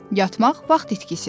Yatmaq vaxt itkisidir.